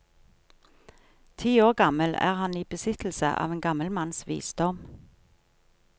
Ti år gammel er han i besittelse av en gammel manns visdom.